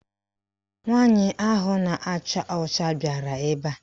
Nwaanyị ahụ na-acha ọcha bịara ebe a.